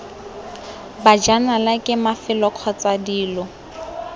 bajanala ke mafelo kgotsa dilo